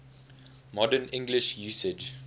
modern english usage